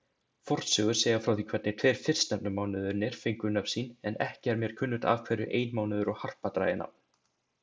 Fornsögur segja frá því hvernig tveir fyrstnefndu mánuðirnir fengu nöfn sín, en ekki er mér kunnugt af hverju einmánuður og harpa dragi nafn.